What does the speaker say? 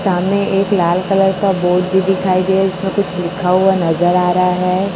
सामने एक लाल कलर का बोर्ड भी दिखाई दिया इसमें कुछ लिखा हुआ नजर आ रहा है।